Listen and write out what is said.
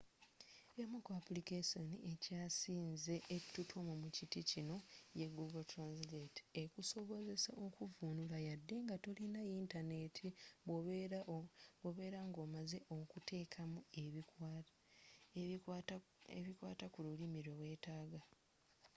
emu ku aplikessoni ekyasinze ettutumu mu kiti kino ye google translate ekusobozesa okuvuunula yade nga tolina yintaneti bw'obeera ng'omaze okuteekamu ebikwata kululimi lwe weetaga